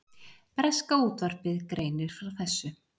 Breska útvarpið greinir frá þessu